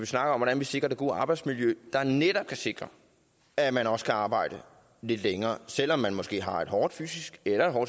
snakker om hvordan vi sikrer det gode arbejdsmiljø der netop kan sikre at man også kan arbejde lidt længere selv om man måske har et hårdt fysisk eller